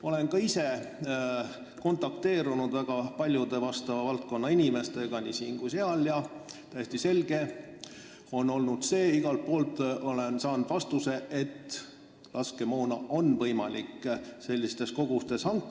Olen ka ise kontakteerunud väga paljude vastava valdkonna inimestega nii siin kui ka seal ja on olnud täiesti selge, igalt poolt olen saanud sellise vastuse, et laskemoona on võimalik suurtes kogustes hankida.